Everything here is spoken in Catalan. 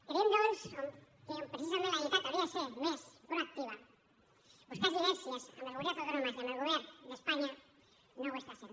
creiem doncs que on precisament la generalitat hauria de ser més proactiva a buscar sinergies amb les comunitats autònomes i amb el govern d’espanya no ho està sent